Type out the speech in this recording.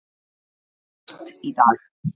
MAST í dag.